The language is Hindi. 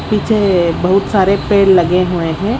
पीछे बहुत सारे पेड़ लगे हुए हैं।